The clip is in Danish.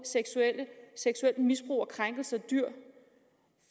seksuelt misbrug og krænkelse af dyr